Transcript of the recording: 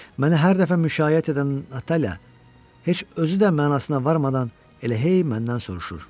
Məni hər dəfə müşayiət edən Natalya heç özü də mənasına varmadan elə hey məndən soruşur: